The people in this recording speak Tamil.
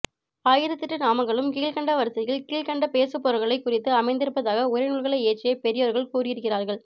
ஆயிரத்தெட்டு நாமங்களும் கீழ்க்கண்ட வரிசையில் கீழ்க்கண்ட பேசுபொருள்களைக் குறித்து அமைந்திருப்பதாக உரைநூல்களை இயற்றிய பெரியோர்கள் கூறியிருக்கிறார்கள்